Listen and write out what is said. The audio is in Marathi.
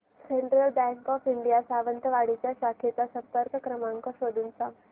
central bank of India Sawantwadi च्या शाखेचा संपर्क क्रमांक शोधून सांग